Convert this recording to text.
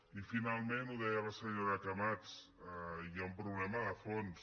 i finalment ho deia la senyora camats hi ha un problema de fons